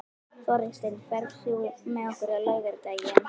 Þórsteinn, ferð þú með okkur á laugardaginn?